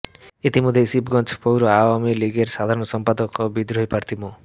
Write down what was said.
ইতিমধ্যেই শিবগঞ্জ পৌর আওয়ামী লীগের সাধারণ সম্পাদক ও বিদ্রোহী প্রার্থী মো